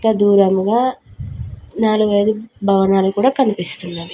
దూరముగా నాలుగైదు భవనాలు కూడా కనిపిస్తున్నాయి.